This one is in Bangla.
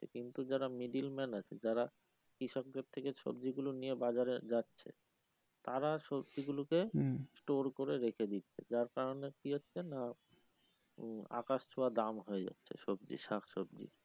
কিন্তু যারা middleman আছে যারা কৃষকদের থেকে সব্জিগুলো নিয়ে বাজারে যাচ্ছে, তারা সবজি গুলোকে স্টোর করে রেখে দিচ্ছে যার কারনে কি হচ্ছে নাহ আকাশ ছোয়া দাম হয়ে যাচ্ছে সবজি, শাকসবজি এটাই একটা